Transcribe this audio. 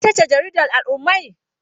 Ita ce jaridar al'ummai?